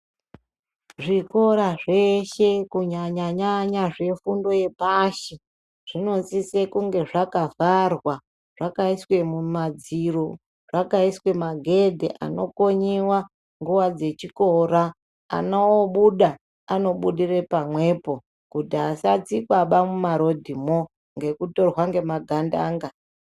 Zvikora veshe kunyanya nyanya zvefundo yepashi zvinosisa kunge zvakavharwa zvakaiswe mumadziro zvakiswe magedhe anokonyiwa nguva dzechikora ana obuda obuda pamwepo kuti asatsikwe muma rodhimwo nekutorwa nemagandanga.